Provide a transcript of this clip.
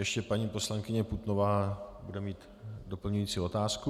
Ještě paní poslankyně Putnová bude mít doplňující otázku.